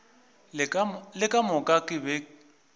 le ka moka ke be